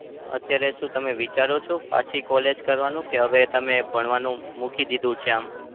અત્યારે શું તમે વિચારો છો પાછી college કરવાનું? કે હવે ભણવાનું મૂકી દીધું છે આમ?